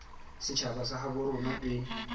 setjhaba sa habo rona e